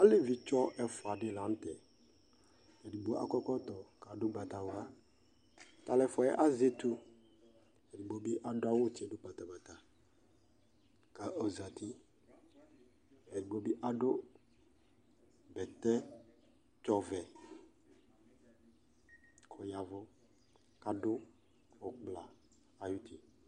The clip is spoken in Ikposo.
Alevi tsɔ ɛfua di la nʋ tɛ Ɛdigbo akɔ ɛkɔtɔ kʋ adʋ ʋgbatawla Ata alʋ ɛfua yɛ azɛ etu, ɛdigbo bi adʋ awʋ tsi dʋ patapata kʋ ɔzati Ɛdigbo bi adʋ bɛtɛtsɔ ɔvɛ kʋ ɔyavu kadʋ ʋkpla ayuti